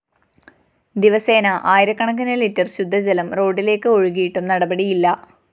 ദിവസേന ആയിരക്കണക്കിന് ലിറ്റർ ശുദ്ധജലം റോഡിലേക്ക് ഒഴുകിയിട്ടും നടപടിയില്ല